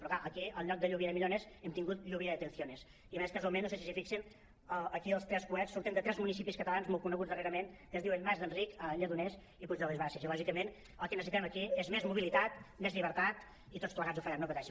però clar aquí en lloc de lluvia de millones hem tingut lluvia de detenciones i a més casualment no sé si s’hi fixen aquí els tres coets surten de tres municipis catalans molt coneguts darrerament que es diuen mas d’enric lledoners i puig de les basses i lògicament el que necessi·tem aquí és més mobilitat més llibertat i tots plegats ho farem no pateixin